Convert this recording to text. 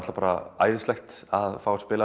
bara æðislegt að fá að spila